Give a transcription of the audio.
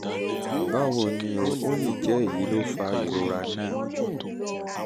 báwo ni o? ó lè jẹ́ èyí ló fa ìrora náà